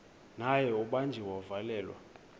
naye ubanjiwe wavalelwa